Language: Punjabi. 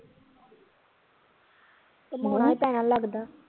ਘੁੰਮਾਉਣਾ ਪੈਣਾ ਲੱਗਦਾ